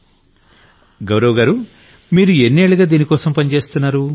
నరేంద్రమోడీ గౌరవ్ గారు మీరు ఎన్నేళ్లుగా దీనికోసం పనిచేస్తున్నారు